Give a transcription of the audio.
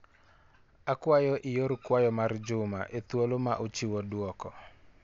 Akwayo ior kwayo mar Juma e thuolo ma ochiwo duoko.